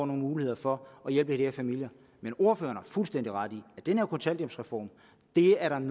mulighed for at hjælpe de her familier men ordføreren har fuldstændig ret i at den her kontanthjælpsreform er en